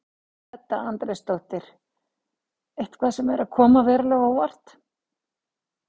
Edda Andrésdóttir: Eitthvað sem er að koma verulega á óvart?